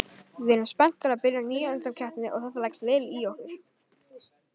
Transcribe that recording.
Við erum spenntar að byrja nýja undankeppni og þetta leggst vel í okkur